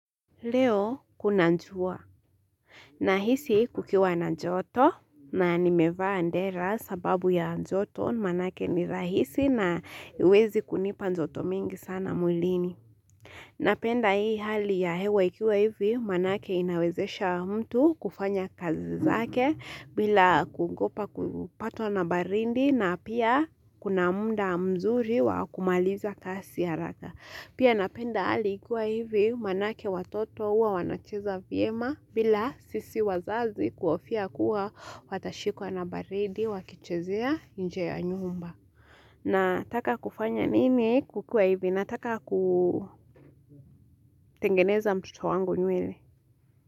Leo kuna njua Nahisi kukiwa na joto na nimevaa dera sababu ya joto maanake ni rahisi na hiwezi kunipa joto mingi sana mwilini Napenda hii hali ya hewa ikiwa hivi manake inawezesha mtu kufanya kazi zake bila kuogopa kupato na baridi na pia kuna munda mzuri wa kumaliza kasi ya haraka. Pia napenda hali ikuwa hivi manake watoto uwa wanacheza viema bila sisi wazazi kuhofia kuwa watashikuwa na baridi wakichezea nje ya nyumba. Nataka kufanya nini kukua hivi nataka kutengeneza mtoto wangu nywele.